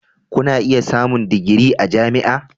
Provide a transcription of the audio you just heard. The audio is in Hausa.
Kuna iya samun digiri a jami'a.